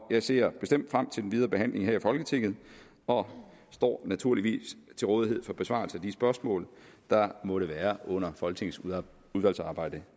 jeg ser bestemt frem til den videre behandling her i folketinget og står naturligvis til rådighed for besvarelse af de spørgsmål der måtte være under folketingets udvalgsarbejde